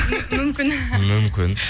мүмкін мүмкін